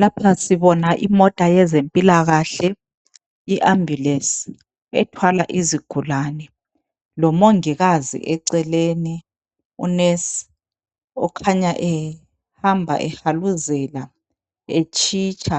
Lapha sibona imota yezempilakahle iambulensi ethwala izigulane lomongikazi eceleni unesi okhanya ehamba ehaluzela, etshitsha